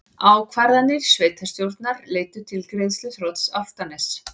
Ákvarðanir sveitarstjórnar leiddu til greiðsluþrots Álftaness